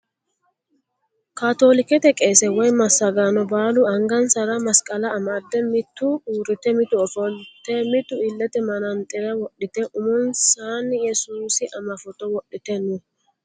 Kaatoolikete qeese woyi massagaano baalu angansara masqala amdde mitu uurrite mitu ofolte mitu illete manaxxire wodhite umonsaanni yesuusi ama footo wodhite no.